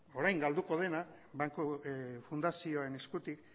orain galduko dena banku fundazioen eskutik